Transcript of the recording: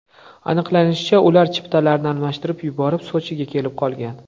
Aniqlanishicha, ular chiptalarni almashtirib yuborib, Sochiga kelib qolgan.